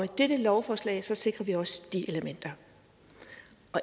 dette lovforslag sikrer vi også de elementer